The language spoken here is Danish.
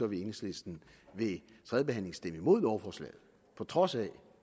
vil enhedslisten ved tredje behandling stemme imod lovforslaget på trods af